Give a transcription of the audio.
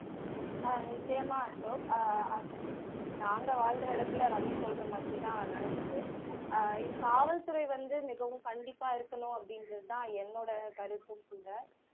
ஆஹ் நிச்சயமா அசோக் ஆஹ் நாங்க வாழ்ற இடத்துல ரவி சொல்ற மாதிரிதான் நடக்குது ஆஹ் இக் காவல்துறை வந்து மிகவும் கண்டிப்பா இருக்கணும் அப்படிங்குறது தான் என்னோட கருத்தும் கூட